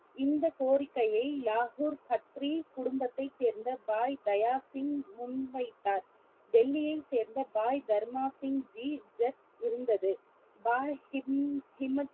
இந்தக் கோரிக்கையை யாகூர் சத்ரி குடும்பத்தை சேர்ந்த பாய் தயா சிங் முன்வைத்தார் டெல்லியை சேர்ந்த பாய் தர்னா சிங் ஜி ஜத் இருந்தது பாய்